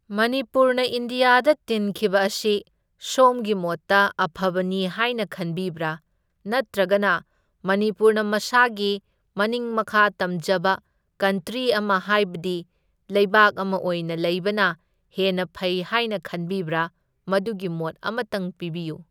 ꯃꯅꯤꯄꯨꯔꯅ ꯏꯟꯗ꯭ꯌꯥꯗ ꯇꯤꯟꯈꯤꯕ ꯑꯁꯤ ꯁꯣꯝꯒꯤ ꯃꯣꯠꯇ ꯑꯐꯕꯅꯤ ꯍꯥꯏꯅ ꯈꯟꯕꯤꯕ꯭ꯔꯥ? ꯅꯠꯇ꯭ꯔꯒꯅ ꯃꯅꯤꯄꯨꯔꯅ ꯃꯁꯥꯒꯤ ꯃꯅꯤꯡ ꯃꯈꯥ ꯇꯝꯖꯕ ꯀꯟꯇ꯭ꯔꯤ ꯑꯃ ꯍꯥꯏꯕꯗꯤ ꯂꯩꯕꯥꯛ ꯑꯃ ꯑꯣꯏꯅ ꯂꯩꯕꯅ ꯍꯦꯟꯅ ꯐꯩ ꯍꯥꯏꯅ ꯈꯟꯕꯤꯕ꯭ꯔꯥ? ꯃꯗꯨꯒꯤ ꯃꯣꯠ ꯑꯃꯇꯪ ꯄꯤꯕꯤꯌꯨ꯫